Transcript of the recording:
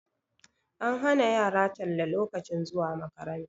An hana yara talle lokacin zuwa makaranta